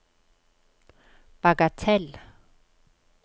bagatell